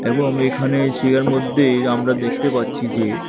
এবং এখানে চেয়ার মধ্যে আমরা দেখতে পাচ্ছি যে --